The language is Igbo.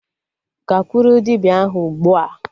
Gakwuru dibịa ahụ ugbua!